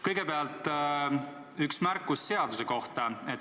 Kõigepealt üks märkus seaduse kohta.